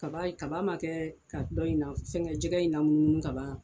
Kaba ye kaba man kɛ ka dɔ in na fɛngɛ jɛgɛ in namunumunu kaban.